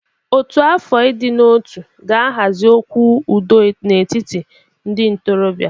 Ọ́tù afọ ịdị n'otu ga-ahazi okwu udo n'etiti ndị ntorobịa.